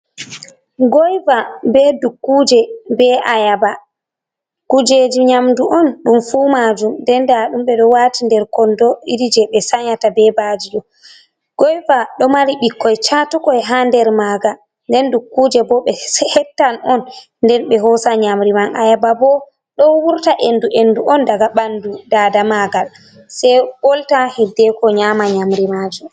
Goyva, be dukkuje, be ayaba kujeji nyamdu on ɗum fu majum nden nda ɗum ɓeɗo wati nder kondo irije be sanyata be baji ɗo, goiva ɗo mari ɓikkoi catukoi ha nder maga nden dukkuje bo be hettan on nden ɓe hosa nyamri man, ayaba bo ɗo wurta endu endu on daga ɓandu dada magal, sei ɓolta hiddeko nyama nyamri majum.